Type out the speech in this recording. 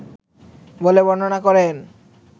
বলে বর্ণনা করেন